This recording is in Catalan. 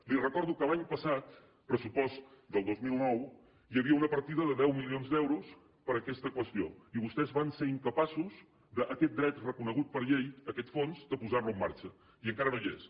li recordo que l’any passat pressupost del dos mil nou hi havia una partida de deu milions d’euros per a aquesta qüestió i vostès van ser incapaços de aquest dret reconegut per llei aquest fons de posar lo en marxa i encara no ho està